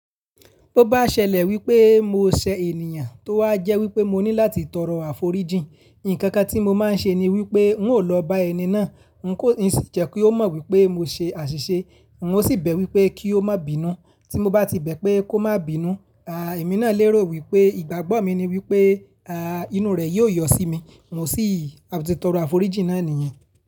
Bo bá ṣẹlẹ̀ wípé mo ṣe ènìyàn tó wá jẹ́ wípé mo ní láti tọrọ àforíjì, ǹkan kan tí mo máa ń ṣe ni wípé ń ò lọ bá ẹni náà, ǹ kí n sì jẹ́ kí ó mọ̀ wípé mo ṣe àṣìṣe, mo sì bẹ wípé kí ó má bínú. Tí mo bá ti bẹ́ pé kó má bínú, à èmi náà lérò wípé ìgbàgbọ́ mi ni wípé à inú rẹ̀ yóò yọ sí mi, mo sì ti tọrọ àforíjì náà niyen.